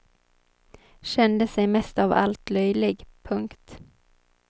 Kände sig mest av allt löjlig. punkt